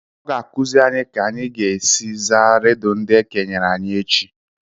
Ọ ga-akụzi anyị ka anyị ga-esi zaa rịdùlù ndị e kenyere anyị echi